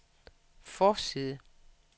forside